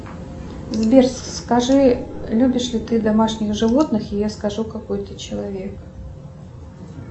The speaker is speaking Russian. сбер скажи любишь ли ты домашних животных и я скажу какой ты человек